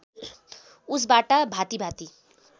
उसबाट भाँति भाँति